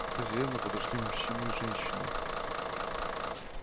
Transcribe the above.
к хозяину подошли мужчина и женщина